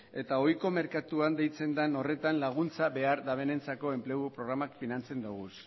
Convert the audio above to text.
eta ohiko merkatuan deitzen den horretan laguntza behar dutenentzako enplegu programak finantzen ditugu